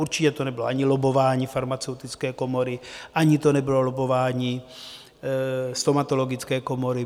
Určitě to nebylo ani lobbování farmaceutické komory, ani to nebylo lobbování stomatologické komory.